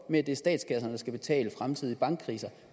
med at det er statskasserne der skal betale fremtidige bankkriser